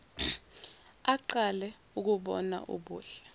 aqale ukubona ubuhle